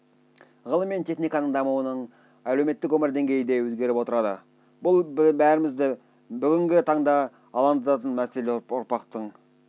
ғылым мен техниканың дамуымен әлеуметтік өмір деңгейі де өзгеріп отырады бәрімізді бүгінгі таңда алаңдататын мәселе ұрпақтың